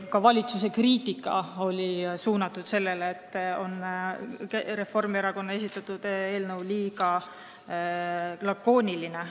Ka valitsuse kriitika oli see, et Reformierakonna esitatud eelnõu on liiga lakooniline.